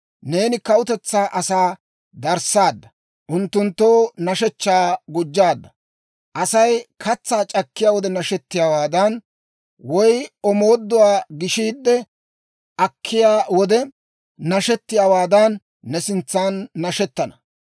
Neeni kawutetsaa asaa darissaadda; unttunttoo nashshechchaa gujjaadda; Asay katsaa c'akkiyaa wode nashettiyaawaadan, woy omooduwaa gishiide akkiyaa wode nashettiyaawaadan, ne sintsan nashettana.